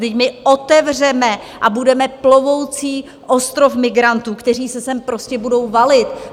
Vždyť my otevřeme a budeme plovoucí ostrov migrantů, kteří se sem prostě budou valit.